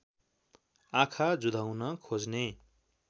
आँखा जुधाउन खोज्ने